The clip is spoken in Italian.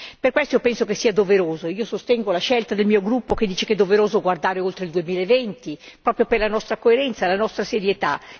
Per questo io penso che sia doveroso, io sostengo la scelta del mio gruppo che dice che è doveroso guardare oltre il 2020, proprio per la nostra coerenza, la nostra serietà.